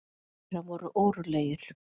Margir þeirra voru órólegir.